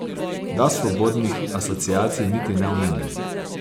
Da svobodnih asociacij niti ne omenjam.